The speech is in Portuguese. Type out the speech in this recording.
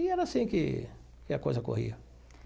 E era assim que que a coisa corria.